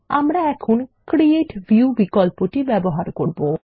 আমরা এখন create view বিকল্পটি ব্যবহার করব